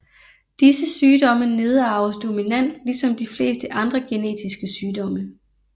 Disse sygdomme nedarves dominant ligesom de fleste andre genetiske sygdomme